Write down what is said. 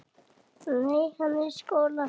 Nei, hann er í skóla.